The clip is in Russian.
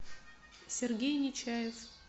сергей нечаев